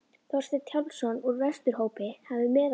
Þorsteinn Hjálmsson úr Vesturhópi hefði meðalgöngu um.